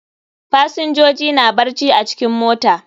Fasinjoji na barci a cikin mota.